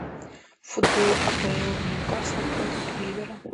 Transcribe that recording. футбол апл ньюкасл против ливера